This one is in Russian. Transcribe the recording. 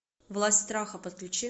власть страха подключи